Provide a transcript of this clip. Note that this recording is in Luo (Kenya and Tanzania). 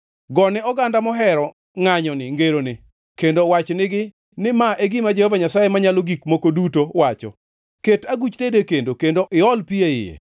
Gone oganda mohero ngʼanyoni ngeroni, kendo wach nigi ni ma e gima Jehova Nyasaye Manyalo Gik Moko Duto wacho: “ ‘Ket aguch tedo e kendo; kendo iol pi e iye.